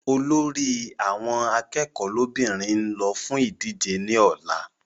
Olórí àwọn akẹ́kọ̀ọ́ lọ́bìnrin n lọ fún ìdíje ní ọ̀la